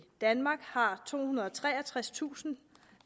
danmark har tohundrede og treogtredstusind